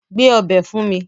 Gbé ọbẹ̀ fún mí!